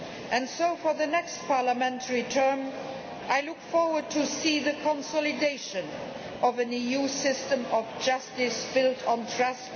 And so for the next parliamentary term, I look forward to seeing the consolidation of an EU system of justice built on trust